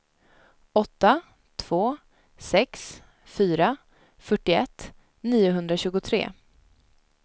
åtta två sex fyra fyrtioett niohundratjugotre